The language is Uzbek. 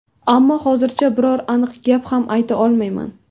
Ammo hozircha biror aniq gap ham ayta olmayman.